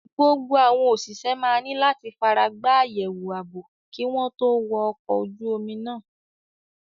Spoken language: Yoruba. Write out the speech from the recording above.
Gbogbo àwọn òṣìṣẹ́ máa ní láti faragbá àyẹ̀wò ààbò kí wọ́n tó wọ ọkọ̀ ojú omi náà.